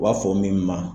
U b'a fɔ min ma